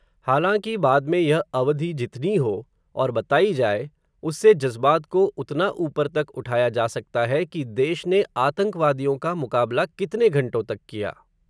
हालांकि, बाद में यह अवधि जितनी हो, और बतायी जाए, उससे जज़्बात को उतना उपर तक उठाया जा सकता है, कि देश ने आतंकवादियों का मुकाबला कितने घंटों तक किया